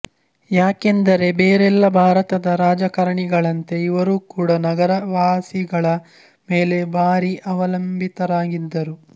ಯಾಕೆಂದರೆ ಬೇರೆಲ್ಲ ಭಾರತದ ರಾಜಕಾರಣಿಗಳಂತೆ ಇವರೂ ಕೂಡಾ ನಗರ ವಾಸಿಗಳ ಮೇಲೆ ಭಾರೀ ಅವಲಂಬಿತರಾಗಿದ್ದರು